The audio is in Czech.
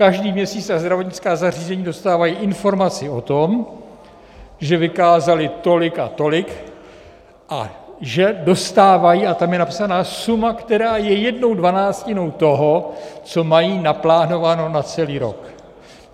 Každý měsíc ta zdravotnická zařízení dostávají informaci o tom, že vykázala tolik a tolik a že dostávají - a tam je napsaná suma, která je jednou dvanáctinou toho, co mají naplánováno na celý rok.